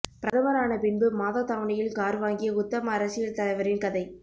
பிரதமரான பின்பு மாதத் தவணையில் கார் வாங்கிய உத்தம அரசியல் தலைவரின் கதை